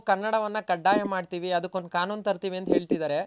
ಕನ್ನಡವನ್ನ ಕಡ್ಡಾಯ ಮಾಡ್ತಿವಿ ಅದುಕೊಂದು ಕಾನೂನ್ ತರ್ತಿವಿ ಅಂತ ಹೇಳ್ತಿದಾರೆ.